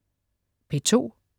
P2: